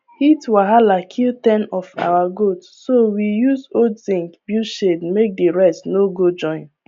heat wahala kill ten of our goat so we use old zinc build shade make the rest no go join